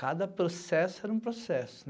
Cada processo era um processo.